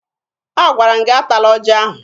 Agwara m gị atala ọjị ahụ!